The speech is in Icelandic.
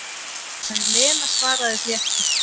En Lena svaraði því ekki.